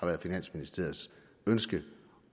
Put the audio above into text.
været finansministeriets ønske